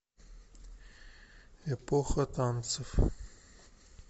эпоха танцев